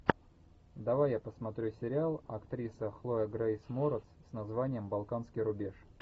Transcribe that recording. давай я посмотрю сериал актриса хлоя грейс морец с названием балканский рубеж